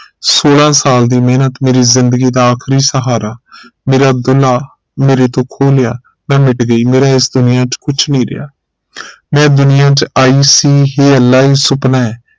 ਸੋਲਹ ਸਾਲ ਦੀ ਮਿਹਨਤ ਮੇਰੀ ਜ਼ਿੰਦਗੀ ਦਾ ਆਖਰੀ ਸਹਾਰਾ ਮੇਰਾ ਅਬਦੁੱਲ੍ਹਾ ਮੇਰੇ ਤੋਂ ਖੋਹ ਲਿਆ ਮੈਂ ਮਿਟ ਗਈ ਮੇਰਾ ਇਸ ਦੁਨੀਆ ਚ ਕੁਛ ਨਹੀਂ ਰਿਹਾ ਮੈਂ ਦੁਨੀਆ ਚ ਆਈ ਸੀ ਹੇ ਅਲਾਹ ਇਹ ਸੁਪਨਾ ਹੈ